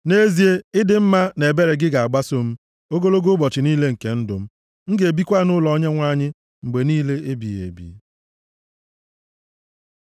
Nʼezie, ịdị mma na ebere ga-agbaso m ogologo ụbọchị niile nke ndụ m, m ga-ebikwa nʼụlọ Onyenwe anyị mgbe niile ebighị ebi.